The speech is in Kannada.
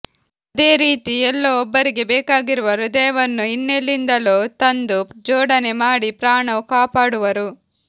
ಅದೇ ರೀತಿ ಎಲ್ಲೋ ಒಬ್ಬರಿಗೆ ಬೇಕಾಗಿರುವ ಹೃದಯವನ್ನು ಇನ್ನೆಲ್ಲಿಂದಲೋ ತಂದು ಜೋಡಣೆ ಮಾಡಿ ಪ್ರಾಣ ಕಾಪಾಡುವರು